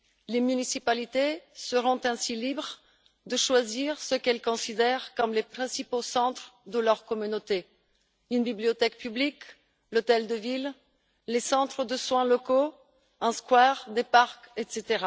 Les municipalités seront ainsi libres de choisir ce qu'elles considèrent comme les principaux centres de leur communauté une bibliothèque publique, l'hôtel de ville, les centres de soins locaux, une place, des parcs, etc.,